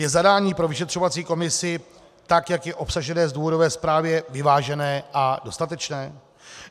Je zadání pro vyšetřovací komisi tak, jak je obsažené v důvodové zprávě, vyvážené a dostatečné?